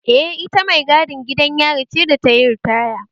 Eh, ita mai gadin gidan yari ce da tayi ritaya